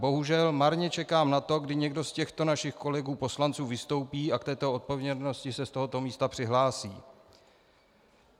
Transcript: Bohužel marně čekám na to, kdy někdo z těchto našich kolegů poslanců vystoupí a k této odpovědnosti se z tohoto místa přihlásí.